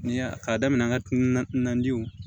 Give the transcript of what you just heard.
Ni y'a k'a daminɛ an ka na na jiw